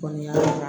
Kɔni